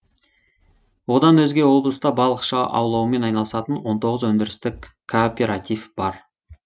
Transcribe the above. одан өзге облыста балықшы аулаумен айналысатын он тоғыз өндірістік кооператив бар